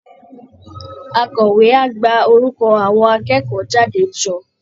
Akọ̀wé á gba orúkọ àwọn akẹ́kọ̀ọ́ jáde jọ